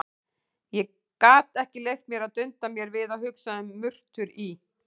Ég gat ekki leyft mér að dunda mér við að hugsa um murtur í